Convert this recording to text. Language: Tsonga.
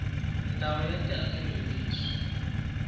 ndhawu ya tihakelo hi leswi